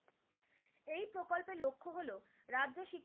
রাজ্য ,